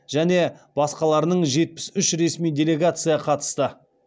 және басқаларынын жетпіс үш ресми делегация қатысты